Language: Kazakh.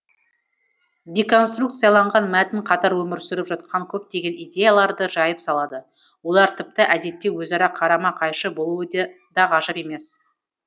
деконструкцияланған мәтін қатар өмір сүріп жатқан көптеген идеяларды жайып салады олар тіпті әдетте өзара қарама қайшы болуы де да ғажап емес